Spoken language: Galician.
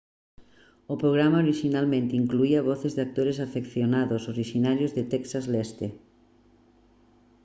o programa orixinalmente incluía voces de actores afeccionados orixinarios de texas leste